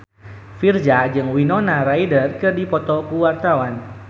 Virzha jeung Winona Ryder keur dipoto ku wartawan